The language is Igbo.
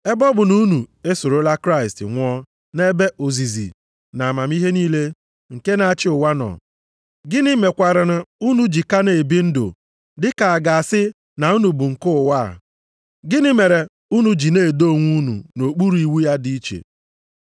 Ebe ọ bụ na unu esorola Kraịst nwụọ nʼebe ozizi na amamihe niile nke na-achị ụwa nọ, gịnị mekwaranụ unu ji ka na-ebi ndụ dị ka a ga-asị na unu bụ nke ụwa, gịnị mere unu ji na-edo onwe unu nʼokpuru iwu ya dị iche?